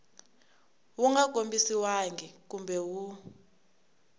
wu nga kombisiwangi kumbe wu